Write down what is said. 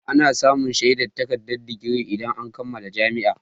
Ana samun shaidar takardar digiri idan an kammala jami'a.